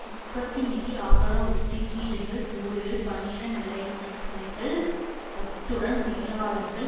உற்பத்தி நிதி ஆதார ஒத்திக்கீடுகள் கூலிகள் பணியிட நிலைமைகள் அத்துடன் மேலாளர்கள்